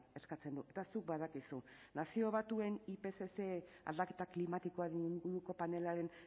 eskatzen du eta zuk badakizu nazio batuen ipcc aldaketa klimatikoaren inguruko panelaren